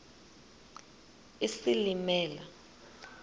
isilimela